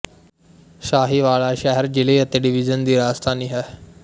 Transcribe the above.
ਸਾਹੀਵਾਲ ਸ਼ਹਿਰ ਜ਼ਿਲ੍ਹੇ ਅਤੇ ਡਵੀਜਨ ਦੀ ਰਾਜਧਾਨੀ ਹੈ